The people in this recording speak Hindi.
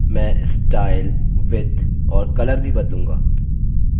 मैं style width और color भी बदलूँगा